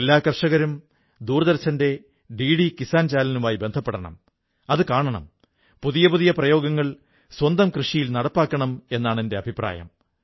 എല്ലാ കർഷകരും ദൂരദർശന്റെ ഡിഡി കിസ്സാൻ ചാനലുമായി ബന്ധപ്പെടണം അതു കാണണം പുതിയ പുതിയ പ്രയോഗങ്ങൾ സ്വന്തം കൃഷിയിൽ നടപ്പാക്കണം എന്നാണ് എന്റെ അഭിപ്രായം